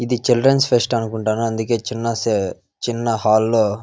ఇది children's fest అనుకుంటాను. అందుకే చిన్న చిన్న హాల్లో --